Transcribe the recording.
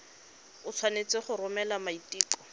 o tshwanetse go romela maiteko